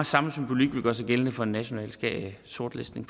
samme symbolik vil gøre sig gældende for en national sortlistning